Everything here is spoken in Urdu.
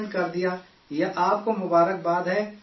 یہ آپ کو مبارکباد ہے ہماری طرف سے